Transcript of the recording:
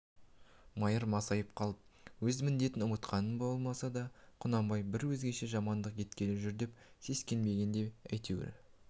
майыр масайып қалып өз міндетін ұмытқаннан ба болмаса құнанбай бір өзгеше жамандық еткелі жүр деп сескенгеннен бе әйтеуір